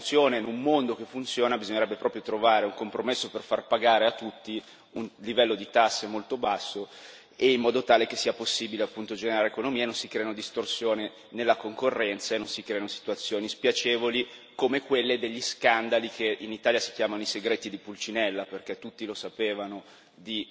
In un'Unione europea che funziona, in un mondo che funziona, bisognerebbe proprio trovare un compromesso per far pagare a tutti un livello di tasse molto basso, in modo tale che sia possibile, appunto, generare economia e non si creino distorsioni nella concorrenza e non si creino situazioni spiacevoli, come quelle degli scandali che in Italia si chiamano i segreti di Pulcinella.